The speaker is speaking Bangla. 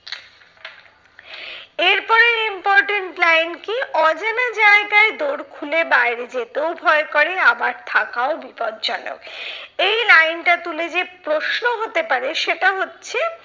এরপরের important line কি অজানা জায়গায় দোর খুলে বাইরে যেতেও ভয় করে আবার থাকাও বিপর্জনক। এই line টা তুলে যে প্রশ্ন হতে পারে সেটা হচ্ছে,